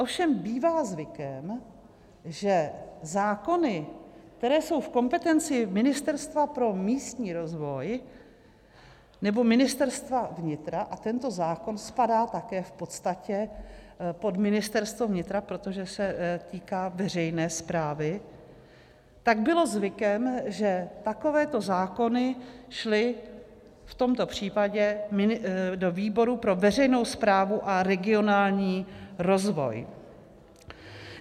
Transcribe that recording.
Ovšem bývá zvykem, že zákony, které jsou v kompetenci Ministerstva pro místní rozvoj nebo Ministerstva vnitra - a tento zákon spadá také v podstatě pod Ministerstvo vnitra, protože se týká veřejné správy - tak bylo zvykem, že takovéto zákony šly v tomto případě do výboru pro veřejnou správu a regionální rozvoj.